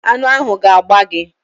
Aṅụ ahụ ga-agba gi